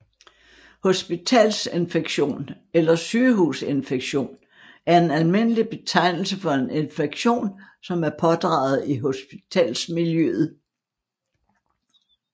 Hospitalsinfektion eller Sygehusinfektion er en almindelig betegnelse for en infektion som er pådraget i hospitalsmiljøet